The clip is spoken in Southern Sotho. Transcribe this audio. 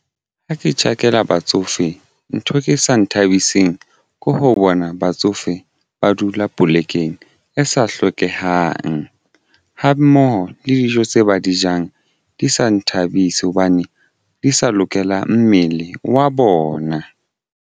Ha ke tjhakela batsofe ntho ke sa nthabiseng ko ho bona batsofe ba dula polekeng e sa hlokehang ha mmoho le dijo tse ba di jang di sa nthabise hobane di sa lokela mmele wa bona.